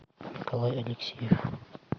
николай алексеев